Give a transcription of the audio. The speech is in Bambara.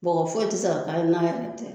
Bɔgɔ foyi ti se ka k'a ye n'a yɛrɛ tɛ